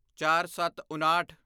ਚਾਰਸੱਤਉਣਾਹਠ